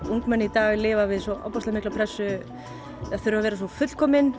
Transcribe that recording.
ungmenni í dag lifa við svo ofboðslega mikla pressu þurfa að vera svo fullkomin